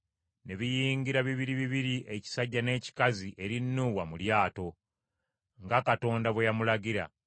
ne biyingira bibiri bibiri ekisajja n’ekikazi eri Nuuwa mu lyato, nga Katonda bwe yamulagira.